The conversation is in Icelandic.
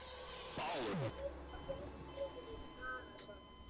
Þinn vinur, Jón Friðrik Arason.